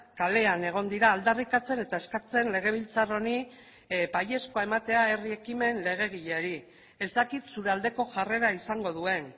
kalean egon dira aldarrikatzen eta eskatzen legebiltzar honi baiezkoa ematea herri ekimen legegileari ez dakit zure aldeko jarrera izango duen